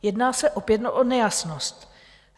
Jedná se opět o nejasnost.